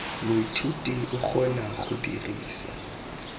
moithuti o kgona go dirisa